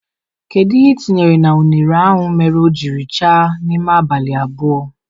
Kedu ihe itinyere na unere ahụ mere o jiri chaa n'ime abalị abụọ?